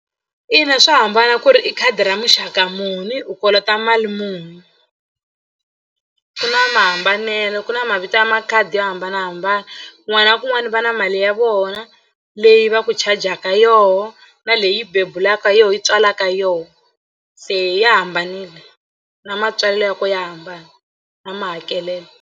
Ina swa hambana ku ri i khadi ra muxaka muni u kolota mali muni ku na mahambanelo ku na mavito ya makhadi yo hambanahambana kun'wana na kun'wana va na mali ya vona leyi va ku charger-ka yoho na leyi bebulaka yona yi tswalaka yoho se ya hambanile na matswalelo ya ko ya hambana na mahakelelo.